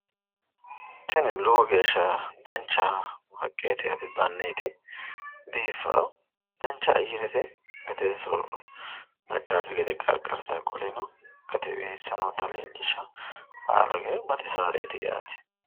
Tini lowo geeshsha dancha haqqeeti yaate danneeti biiffaa dancha ayyarete gade soorro daggaakki gede gargartaa qoleno qaccete weessa noota leellishaa baaluri baxisaareeti yaate.